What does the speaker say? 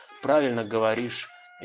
правильно говоришь